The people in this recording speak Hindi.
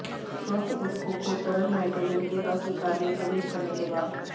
स्वस्थ ऊतकों को तरल नाइट्रोजन के अस्वीकार्य प्रवेश करने के बाद